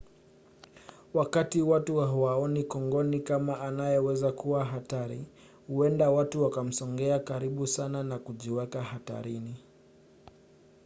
wakati watu hawaoni kongoni kama anayeweza kuwa hatari huenda wakamsogea karibu sana na kujiweka hatarini